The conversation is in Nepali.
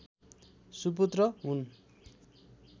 सुपुत्र हुन्